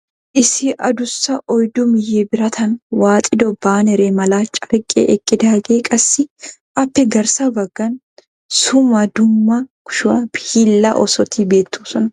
Issi adussa oyddu miye birataan waaxido baanere mala carqqee eqqidaage qassi appe garssa bagaan summa dumma kushshw hiillaa oosotti beetoosonna.